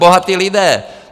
Bohatí lidé!